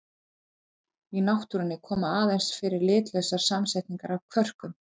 Í náttúrunni koma aðeins fyrir litlausar samsetningar af kvörkum.